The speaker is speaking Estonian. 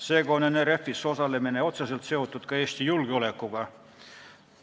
Seega on NRF-is osalemine otseselt seotud ka Eesti julgeolekuga.